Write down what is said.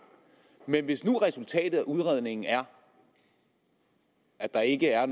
men hvis nu resultatet af udredningen er at der ikke er